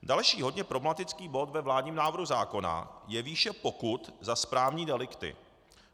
Další hodně problematický bod ve vládním návrhu zákona je výše pokut za správní delikty.